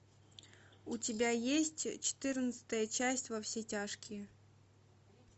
у тебя есть четырнадцатая часть во все тяжкие